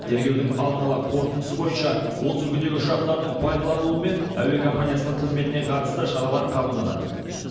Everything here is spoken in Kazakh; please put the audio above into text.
тергеудің алдын ала қорытындысы бойынша осы үлгідегі ұшақтардың пайдаланылуы мен әуе компаниясының қызметіне қатысты шаралар қабылданады